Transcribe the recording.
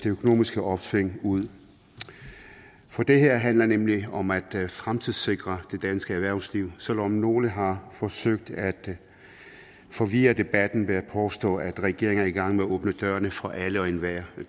økonomiske opsving ud for det her handler nemlig om at fremtidssikre det danske erhvervsliv selv om nogle har forsøgt at forvirre debatten ved at påstå at regeringen er i gang med åbne dørene for alle og enhver det